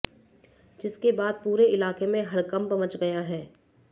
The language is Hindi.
जिसके बाद पूरे इलाके में हड़कंप मच गया है